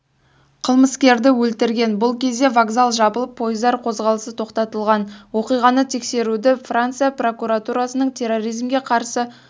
қылмыскерді өлтірген бұл кезде вокзал жабылып пойыздар қозғалысы тоқтатылған оқиғаны тексеруді франция прокуратурасының терроризмге қарсы